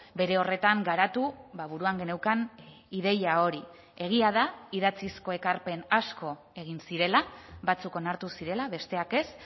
bere horretan garatu buruan geneukan ideia hori egia da idatzizko ekarpen asko egin zirela batzuk onartu zirela besteak ez